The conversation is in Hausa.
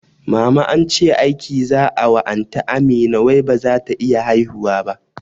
Mama ance aiki za'a wa anty Amina wai bazata iya haihuwa ba